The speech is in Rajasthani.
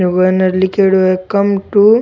व ने लीखेड़ो है कम टू --